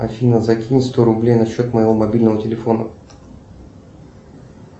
афина закинь сто рублей на счет моего мобильного телефона